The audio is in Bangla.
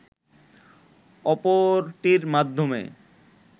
অপরটির মাধ্যমে